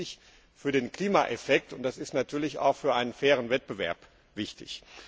Das ist wichtig für den Klimaeffekt, und das ist natürlich auch für einen fairen Wettbewerb wichtig.